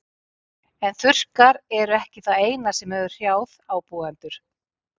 En þurrkar eru ekki það eina sem hefur hrjáð ábúendur.